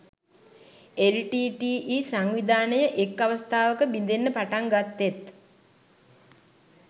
LTTE සංවිධානය එක් අවස්ථාවක බිඳෙන්න පටන් ගත්තෙත්